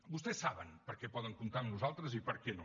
vostès saben per a què poden comptar amb nosaltres i per a què no